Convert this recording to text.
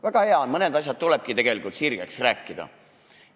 Väga hea on, mõned asjad tulebki sirgeks rääkida.